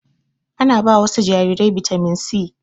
Ana ba wasu jarirai bitamin C